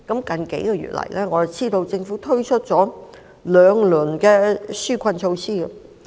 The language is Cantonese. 近數月，我們知道政府推出了兩輪紓困措施。